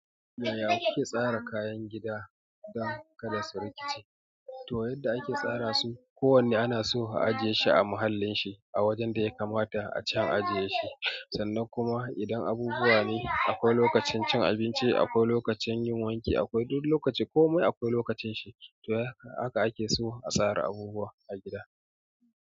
Yaya kuke tsara kayan gida don kada su rikice? To yanda ake tsara su, ko wanne ana so a ajiye shi a mahallin shi a wajen da ya kamata a ce an ajiye shi. Sannan kuma idan abubuwa ne, akwai lokacin cin abinci, akwai lokacin yin wanki, akwai duk lokaci, komai akwai lokacin shi. To haka ake so a tsara abubuwa a gida.